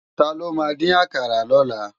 Tàló má din àkàrá lòlá?